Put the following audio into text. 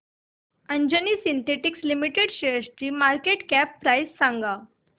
Anjani synthetics limited शेअरची market cap price सांगा